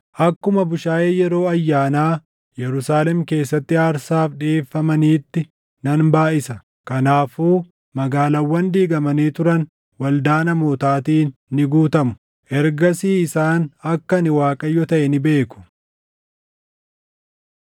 akkuma bushaayee yeroo ayyaanaa Yerusaalem keessatti aarsaaf dhiʼeeffamaniitti nan baayʼisa. Kanaafuu magaalaawwan diigamanii turan waldaa namootaatiin ni guutamu. Ergasii isaan akka ani Waaqayyo taʼe ni beeku.”